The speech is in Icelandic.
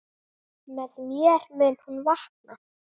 Með mér mun hún vaka.